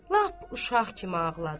Lap uşaq kimi ağladı.